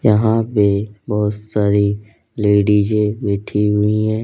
यहां पे बहुत सारी लेडिजे बैठी हुई हैं।